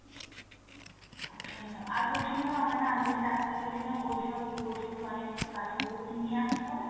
আচ্ছা madam আর বলছি madam, আমার না আগে যে ডাক্তার দেখিয়েছিলাম, ওইসব report গুলো অনেক কিছু আছে ওগুলোকে নিয়ে আসতে হবে ?